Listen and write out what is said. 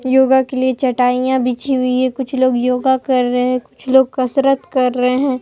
योगा के लिए चटाइयां बिछी हुई है कुछ लोग योगा कर रहे हैं कुछ लोग कसरत कर रहे हैं।